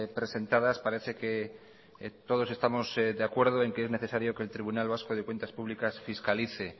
presentadas parece que todos estamos de acuerdo en que es necesario que el tribunal vasco de cuentas públicas fiscalice